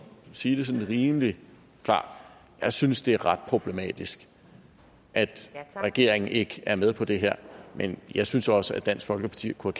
sige det sådan rimelig klart jeg synes det er ret problematisk at regeringen ikke er med på det her men jeg synes også at dansk folkeparti kunne